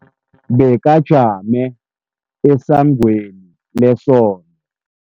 Bekajame esangweni lesonto.